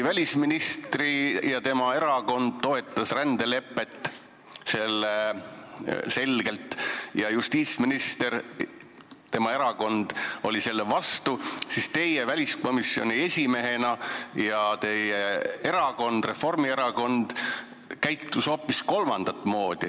Välisminister ja tema erakond toetasid selgelt rändelepet, justiitsminister ja tema erakond olid selle vastu, teie väliskomisjoni esimehena ja teie erakond, Reformierakond, käitusite hoopis kolmandat moodi.